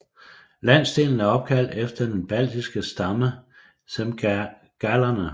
Landsdelen er opkaldt efter den baltiske stamme zemgalerne